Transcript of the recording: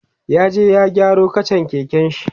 zai je ya gyaro kachan keken shi